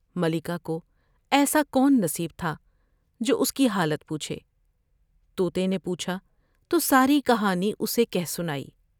ملکہ کوایسا کون نصیب تھا جو اس کی حالت پوچھے تو تے نے پوچھا تو ساری کہانی اسے کہہ سنائی ۔